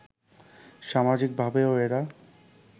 সামাজিকভাবেও এরা